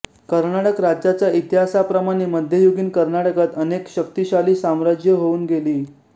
कर्नाटक राज्याचा इतिहासाप्रमाणे मध्ययुगीन कर्नाटकात अनेक शक्तिशाली साम्राज्ये होऊन गेली